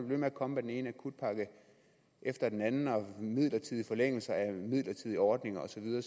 ved med at komme med den ene akutpakke efter den anden og midlertidige forlængelser af midlertidige ordninger og så videre